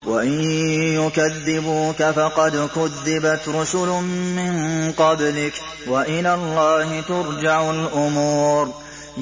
وَإِن يُكَذِّبُوكَ فَقَدْ كُذِّبَتْ رُسُلٌ مِّن قَبْلِكَ ۚ وَإِلَى اللَّهِ تُرْجَعُ الْأُمُورُ